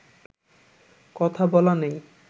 কথা বলা নেই